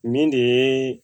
Nin de ye